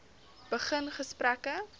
begin gesprekke